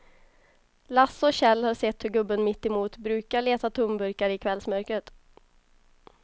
Lasse och Kjell har sett hur gubben mittemot brukar leta tomburkar i kvällsmörkret.